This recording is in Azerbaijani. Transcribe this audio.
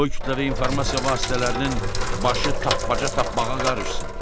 Qoy kütləvi informasiya vasitələrinin başı tappa-tappağa qarışsın.